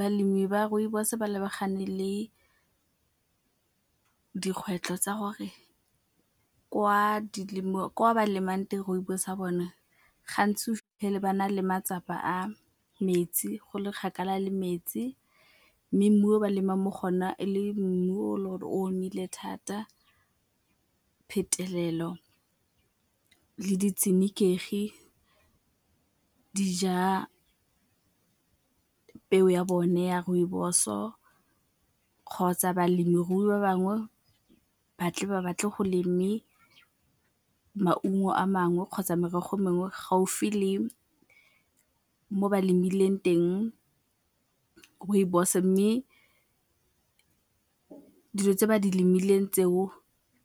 Balemi ba Rooibos-o ba lebagane le dikgwetlho tsa gore kwa ba lemang teng Rooibos ya bone gantsi o fitlhele ba na le matsapa a metsi, go le kgakala le metsi mme mmu o ba lemang mo go o na e le mmu o le gore o omile thata phetelelo le ditshenekegi dija peo ya bone ya Rooibos-o kgotsa balemirui ba bangwe batle ba batle go leme maungo a mangwe kgotsa merogo mengwe gaufi le mo ba lemileng teng Rooibos mme dilo tse ba di lemileng tseo